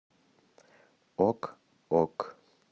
ок ок